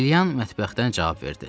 Liliyan mətbəxdən cavab verdi.